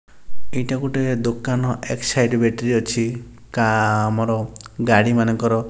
ଏଇଟା ଗୋଟେ ଦୋକାନ ଏକ୍ସସାଇଡ ବେଟ୍ରି ଅଛି କା ଆମର ଗାଡ଼ି ମାନଙ୍କର।